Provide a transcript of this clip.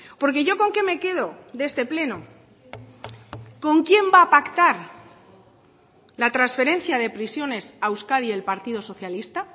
porque yo con qué me quedo de este pleno con quién va a pactar la transferencia de prisiones a euskadi el partido socialista